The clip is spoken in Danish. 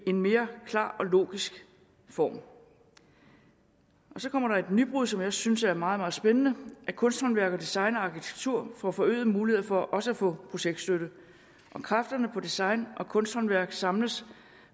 en mere klar og logisk form så kommer der et nybrud som jeg synes er meget meget spændende at kunsthåndværk design og arkitektur får forøgede muligheder for også at få projektstøtte og kræfterne på design og kunsthåndværk samles